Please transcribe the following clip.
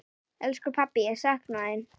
Elsku pabbi, ég sakna þín.